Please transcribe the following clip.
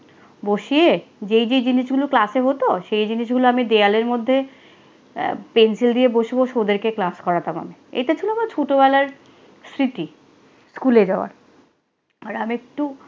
বসিয়ে যেই যেই জিনিসগুলো ক্লাসে হতো, সেই জিনিসগুলো আমি দেওয়ালের মধ্যে আহ পেনসিল দিয়ে বসে বসে ওদেরকে ক্লাস করাতাম আমি। এটা ছিল আমার ছোটবেলার স্মৃতি, স্কুলে যাওয়ার। আর আমি একটু